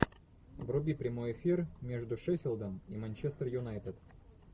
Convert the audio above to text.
вруби прямой эфир между шеффилдом и манчестер юнайтед